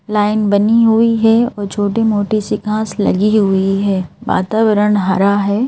Line बनी हुई है और छोटी-मोटी सिखांस लगी हुई है वातावरण हरा है।